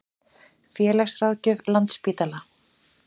Félagsráðgjöf Landspítala.